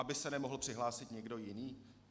Aby se nemohl přihlásit někdo jiný?